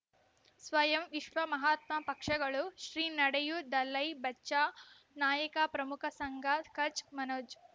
ಸ್ವಯಂ ವಿಶ್ವ ಮಹಾತ್ಮ ಪಕ್ಷಗಳು ಶ್ರೀ ನಡೆಯೂ ದಲೈ ಬಚೌ ನಾಯಕ ಪ್ರಮುಖ ಸಂಘ ಕಚ್ ಮನೋಜ್